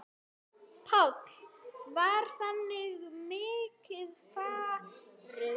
Páll: Var þakið mikið farið?